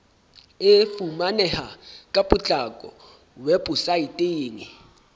e fumaneha ka potlako weposaeteng